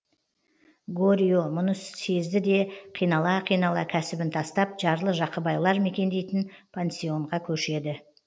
горио мұны сезді де қинала қинала кәсібін тастап жарлы жақыбайлар мекендейтін пансионға көшеді